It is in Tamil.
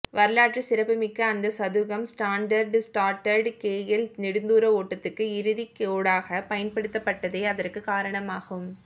வரலாற்றுச் சிறப்புமிக்க அந்தச் சதுக்கம் ஸ்டாண்டர்ட் சார்ட்டர்ட் கேஎல் நெடுந்தூர ஒட்டத்துக்கு இறுதிக் கோடாக பயன்படுத்தப்பட்டதே அதற்குக் காரணமாகும்